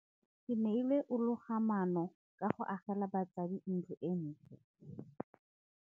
Keneilwe o loga maanô ka go agela batsadi ntlo e ntle.